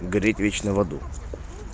гореть вечно в аду